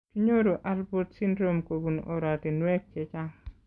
Kinyoru alport syndrome kobun oratinwek chechang